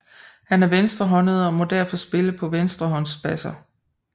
Han er venstrehåndet og må derfor spille på venstrehånds basser